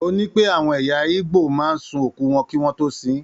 Ó ní pé àwọn ẹ̀yà Igbo máa ń sun òkú wọn kí wọ́n tó sin ín.